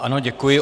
Ano, děkuji.